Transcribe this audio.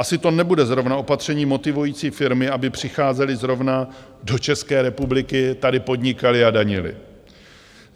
Asi to nebude zrovna opatření motivující firmy, aby přicházely zrovna do České republiky, tady podnikaly a danily.